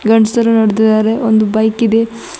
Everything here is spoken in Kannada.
ಗಂಡ್ಸರು ನಡ್ದಿದಾರೆ ಒಂದು ಬೈಕ್ ಇದೆ.